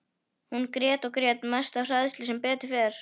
Hún grét og grét, mest af hræðslu, sem betur fer.